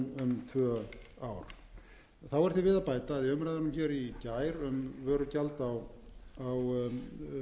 um tvö ár þá er því við að bæta að í